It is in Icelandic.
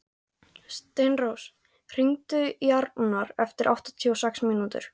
Steinrós, hringdu í Arnar eftir áttatíu og sex mínútur.